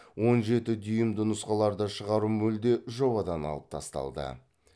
он жеті дюймді нұсқаларды шығару мүлде жобадан алып тасталды